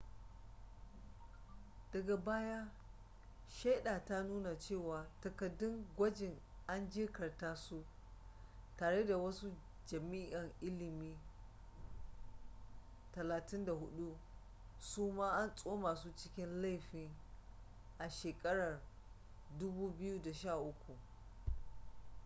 daga baya shaida ta nuna cewa takaddun gwajin an jirkita su tare da wasu jami'an ilimi 34 suma an tsoma su cikin laifin a shekarar 2013